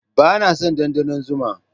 Ba na son ɗanɗanon zuma